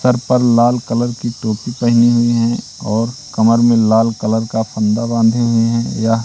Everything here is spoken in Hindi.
सर पर लाल कलर की टोपी पहीनी हुई है और कमर में लाल कलर का फंदा बांधे हुए हैं या--